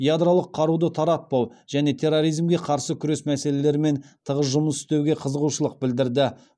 ядролық қаруды таратпау және терроризмге қарсы күрес мәселелерімен тығыз жұмыс істеуге қызығушылық білдірді